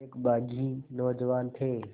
एक बाग़ी नौजवान थे